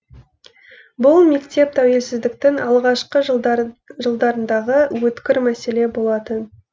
бұл мектеп тәуелсіздіктің алғашқы жылдарындағы өткір мәселе болатын